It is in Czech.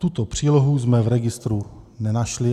Tuto přílohu jsme v registru nenašli.